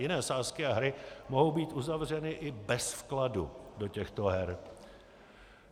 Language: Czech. Jiné sázky a hry mohou být uzavřeny i bez vkladu do těchto her.